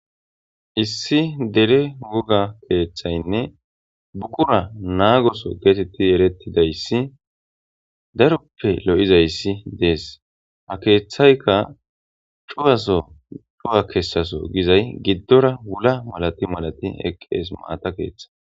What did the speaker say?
issi dere woga keeththaynne buqura naagoso geetetti erettidayssi daroppe lo'izayssi dees ha keeththayka cuwaso cuwa kessaso gizay giddora wula malati malati eqqees maata keeththi